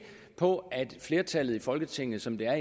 på at flertallet i folketinget som det har